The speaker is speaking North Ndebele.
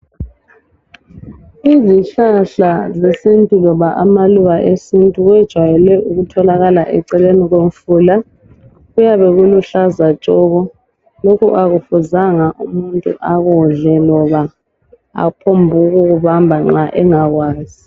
Izihlahla zesintu loba amaluba esintu kwejayele ukutholakala eceleni komfula .Kuyabe kuluhlaza tshoko .Lokhu akufuzanga umuntu akudle loba aphombu kukubamba nxa engakwazi .